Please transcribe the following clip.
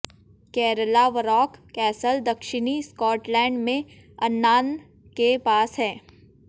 Caerlaverock castle दक्षिणी Scotland में Annan के पास है